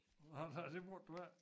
Nej nej det brugte du ik